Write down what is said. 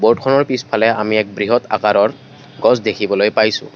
বোৰ্ডখনৰ পিছফালে আমি এক বৃহৎ আকাৰৰ গছ দেখিবলৈ পাইছোঁ।